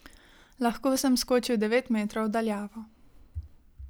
Lahko sem skočil devet metrov v daljavo.